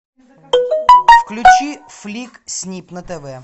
включи флик снип на тв